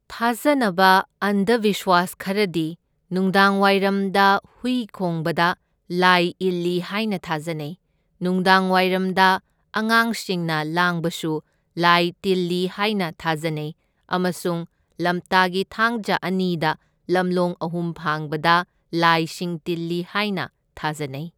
ꯊꯥꯖꯅꯕ ꯑꯟꯗꯕꯤꯁꯋꯥꯁ ꯈꯔꯗꯤ ꯅꯨꯡꯗꯥꯡꯋꯥꯏꯔꯝꯗ ꯍꯨꯏ ꯈꯣꯡꯕꯗ ꯂꯥꯏ ꯏꯜꯂꯤ ꯍꯥꯏꯅ ꯊꯥꯖꯅꯩ, ꯅꯨꯡꯗꯥꯡꯋꯥꯏꯔꯝꯗ ꯑꯉꯥꯡꯁꯤꯡꯅ ꯂꯥꯡꯕꯁꯨ ꯂꯥꯏ ꯇꯤꯜꯂꯤ ꯍꯥꯏꯅ ꯊꯥꯖꯅꯩ ꯑꯃꯁꯨꯡ ꯂꯝꯇꯥꯒꯤ ꯊꯥꯡꯖ ꯑꯅꯤꯗ ꯂꯝꯂꯣꯡ ꯑꯍꯨꯝ ꯐꯥꯡꯕꯗ ꯂꯥꯏꯁꯤꯡ ꯇꯤꯜꯂꯤ ꯍꯥꯏꯅ ꯊꯥꯖꯅꯩ꯫